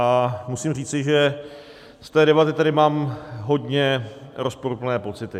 A musím říci, že z té debaty tady mám hodně rozporuplné pocity.